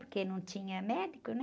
Porque não tinha médico, né?